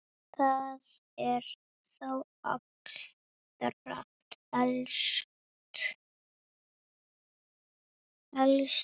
Það er þá allra helst!